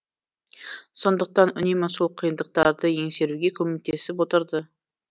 сондықтан үнемі сол қиындықтарды еңсеруге көмектесіп отырды